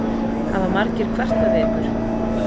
Hafa margir kvartað við ykkur?